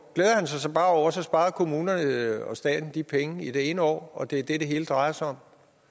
glæder han sig så bare over at så sparede kommunerne og staten de penge i det ene år og det er det det hele drejer sig